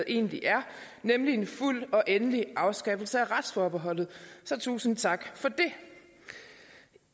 egentlig er nemlig en fuld og endelig afskaffelse af retsforbeholdet så tusind tak for det